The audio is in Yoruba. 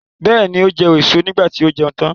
Bẹ́ẹ̀ni, ó jẹ èso niígbà tí ó jẹun tán.